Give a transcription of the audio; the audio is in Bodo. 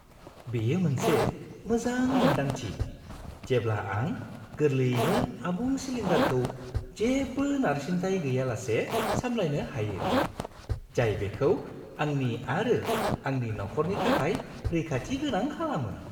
बेयो मोनसे मोजां मोन्दांथि जेब्ला आं गोरलैयैनो आबुं सिलिन्डारखौ जेबो नारसिनथाय गैयालासे सामलायनो हायो, जाय बेखौ आंनि आरो आंनि नखरनि थाखाय रैखाथिगोनां खालामो।